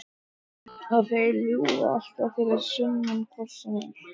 Og þeir ljúga alltaf fyrir sunnan hvort sem er.